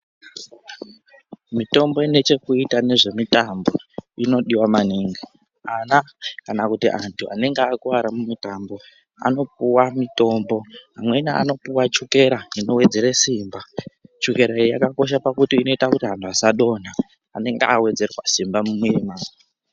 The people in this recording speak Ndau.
Mitombo inechezvekuita nezvemitambo, inodiwa maningi. Ana, kana kuti antu anenge akuwara mumitambo, anopuwa mitombo. Amweni anopiwa tshukera inowedzere simba. Tshukera iyi, yakakosha pakuti inoyita kuti anu asadonha anenge awedzerwa simba munema.